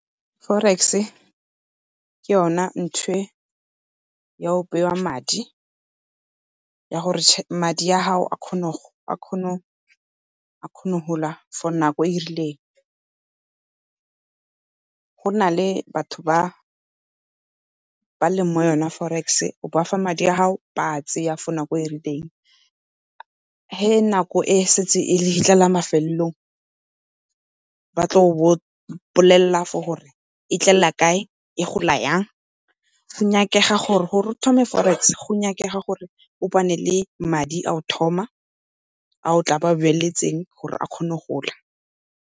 Forex-e ke yona ntho e ya go bewa madi, ya gore madi a gago a kgone go gola for nako e e rileng. Go na le batho ba ba leng mo yona forex-e, o bafa madi a gago ba a tseya for nako e e rileng. Ge nako e e setse e fitlha mafelelong ba tla go bolelela for gore e tlela kae, e gola yang for gore o thome forex go nyakega gore o bane le madi a go thoma a gore a kgone go gola.